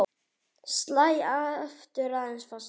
Slæ aftur aðeins fastar.